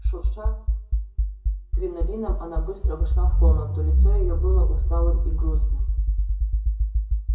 шурша кринолином она быстро вошла в комнату лицо её было усталым и грустным